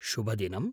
शुभदिनम्!